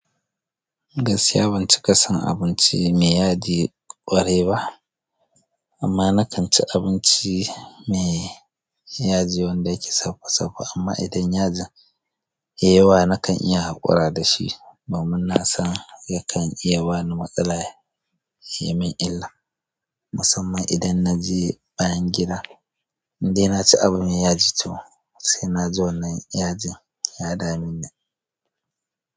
Gaskiya ban cika san abinci mai yaji ƙwarai ba, amma na kan ci abinci mai yaji waɗan yake safa safa. Amma idan yajin ya yi yawa na kan iya haƙura da shi ba. Donin na san yakan iya bani matsala ya yi min illa musamman idan na je bayan gida. Indai na ci abu mai yaji to sai na ji wannan yajin ya dameni.